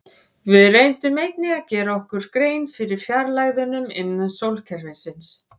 Við reyndum einnig að gera okkur grein fyrir fjarlægðunum innan sólkerfisins.